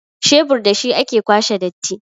shebur da shi ake kwashe datti